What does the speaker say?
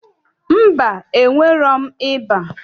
Mba, enwerọm ịba